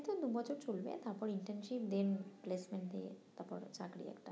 এখন দুবছর চলবে তারপর internship then placement দিয়ে তারপরে চাকরি একটা